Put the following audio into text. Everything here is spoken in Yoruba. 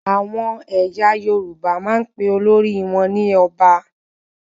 Àwọn ẹyà Yorùbá máa n pe olórí wọn ní Ọba